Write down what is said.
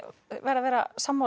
verð að vera sammála